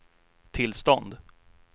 tillstånd